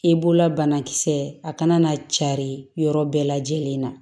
I bolola banakisɛ a kana na cari yɔrɔ bɛɛ lajɛlen na